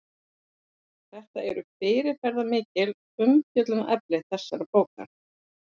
Þetta eru fyrirferðarmikil umfjöllunarefni þessarar bókar.